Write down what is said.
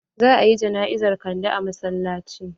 Za a yi jana'izar kande a masallaci.